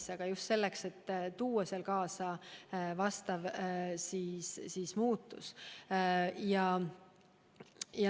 Seda on vaja just selleks, et tuua seal kaasa vajalik muutus.